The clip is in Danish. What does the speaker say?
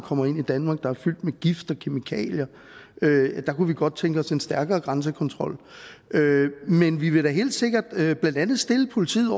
kommer ind i danmark er fyldt med gift og kemikalier der kunne vi godt tænke os en stærkere grænsekontrol men vi vil da helt sikkert stille politiet